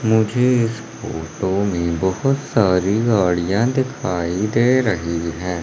मुझे इस फोटो में बहोत सारी गाड़ियां दिखाई दे रही है।